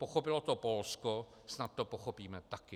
Pochopilo to Polsko, snad to pochopíme taky.